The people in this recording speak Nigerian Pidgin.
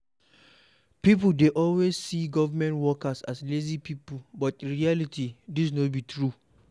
People dey always see government workers as lazy pipo, but in reality dis no be true